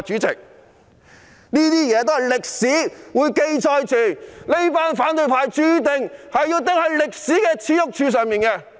這一切都會有歷史記載，反對派注定要釘在歷史耻辱柱上。